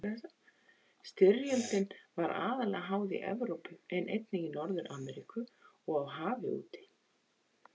Styrjöldin var aðallega háð í Evrópu en einnig í Norður-Ameríku og á hafi úti.